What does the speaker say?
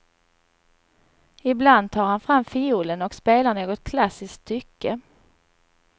Ibland tar han fram fiolen och spelar något klassiskt stycke.